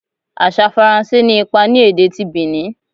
Asa Faranse ni ipa ni ede ti Benin